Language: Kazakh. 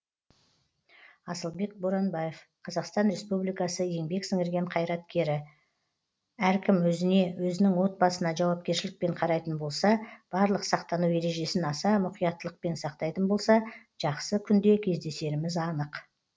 асылбек боранбаев қазақстан республикасы еңбек сіңірген қайраткері әркім өзіне өзінің отбасына жауапкершілікпен қарайтын болса барлық сақтану ережесін аса мұқияттылықпен сақтайтын болса жақсы күнде кездесеріміз анық